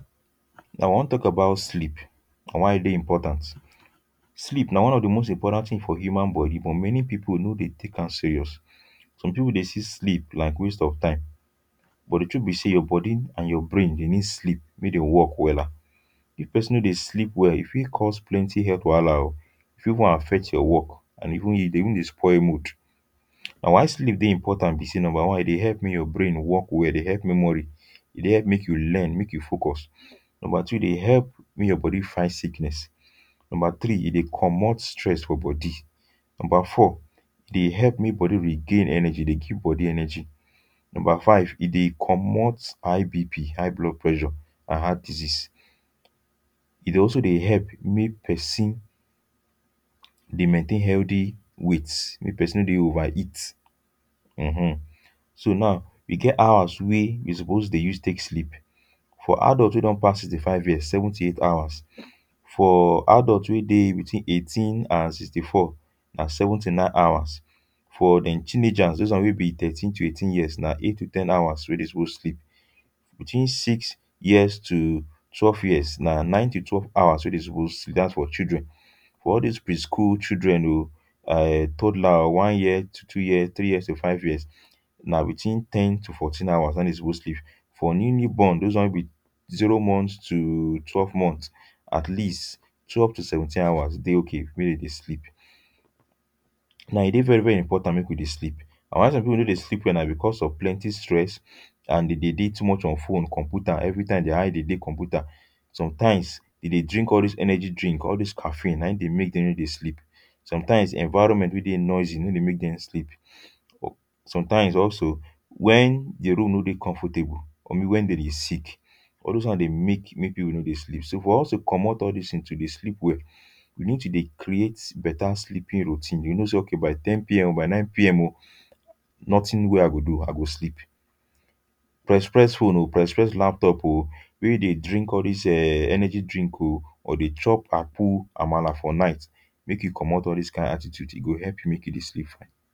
Now, we wan talk about sleep and why e dey important. Sleep na one of di most imporant tin for human body, but many people no dey take am serious. Some people dey see sleep like waste of time. But di truth be say your body and your brain dey need sleep, make dem work wella. If person no dey sleep well, e fit cause plenty health wahala o. E fit even affect your work and e dey even dey spoil mood. And why sleep dey important be say; number one, e dey help make your brain work well, e dey help memory. E dey help make you learn, make you focus. Number two, e dey help make your body fight sickness. Number three, e dey comot stress for body. Number four, e dey help make body regain energy, dey give body energy. Number five, e dey comot high B P — High Blood Pressure, and heart disease. E dey also dey help make person dey maintain healthy weight, make person no dey overeat. um So now, e get hours wey you suppose dey use take sleep. For adult wey don pass sixty-five years, seven to eight hours; for adult wey dey between eighteen and sixty-four, na seven to nine hours. For dem teenagers, those ones wey be thirteen to eighteen years, na eight to ten hours wey dem suppose sleep. Between six years to twelve years, na nine to twelve hours wey dem suppose sleep. Das for children. For all these preschool children o, toddler, one year to two year, three year to five years, na between ten to fourteen hours, na im dem suppose sleep. For new, new born; those ones wey be zero months to twelve months, at least, twelve to seventeen hours dey okay make dem dey sleep. Now, e dey very very important make we dey sleep. And why some people no dey sleep wella na because of plenty stress and dey dey dey too much on phone, computer. Everytime, their eye dey dey computer. Sometimes, dey dey drink all these energy drink; all these caffeine, na im dey make dem no dey sleep. Sometimes, environment wey dey noisy no dey make dem sleep. Sometimes, also, when di room no dey comfortable, or maybe when there is sick; all those ones dey make make people no dey sleep. So, for us to comot all this tins to dey sleep well, we need to dey create better sleeping routine. You know say okay by ten P M o, by nine P M o nothing wey I go do. I go sleep. Press press phone o, press press laptop o, wey you dey drink all these um energy drink o or dey chop àkpú, àmàlà for night; make you comot all these kain attitude. E go help make you dey sleep fine.